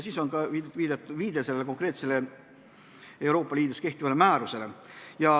Siis oli ka viide konkreetsele Euroopa Liidus kehtivale määrusele.